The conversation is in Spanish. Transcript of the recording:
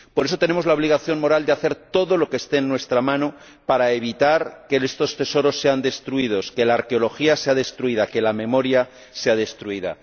Por eso tenemos la obligación moral de hacer todo lo que esté en nuestra mano para evitar que estos tesoros sean destruidos, que la arqueología sea destruida, que la memoria sea destruida.